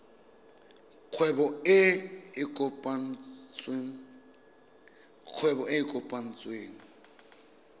kgwebo e e kopetsweng e